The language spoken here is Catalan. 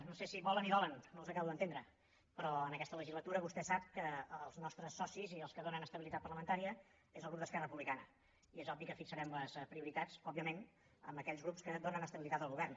no sé si volen i dolen no els acabo d’entendre però en aquesta legislatura vostè sap que els nostres socis i els que donen estabilitat parlamentària és el grup d’esquerra republicana i és obvi que fixarem les prioritats òbviament amb aquells grups que donen estabilitat al govern